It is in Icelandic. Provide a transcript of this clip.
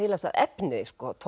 las efnið